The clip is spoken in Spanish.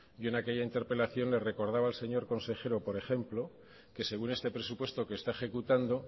yo en aquella interpelación le recordaba al señor consejero por ejemplo que según este presupuesto que está ejecutando